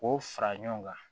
K'o fara ɲɔgɔn kan